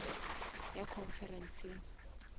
o ya conferenceng